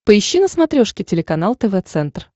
поищи на смотрешке телеканал тв центр